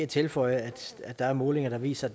tilføje at der er målinger der viser